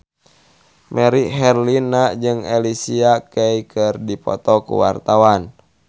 Melly Herlina jeung Alicia Keys keur dipoto ku wartawan